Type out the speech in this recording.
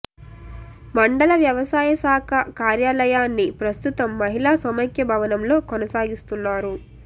మండల వ్యవసాయ శాఖ కార్యాలయాన్ని ప్రస్తుతం మహిళా సమైక్య భవనంలో కొనసాగిస్తున్నారు